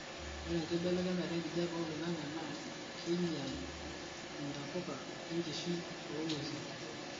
ore enkibelekenya enkijape oloingangi na keinyar intapuka enkishui oonguesi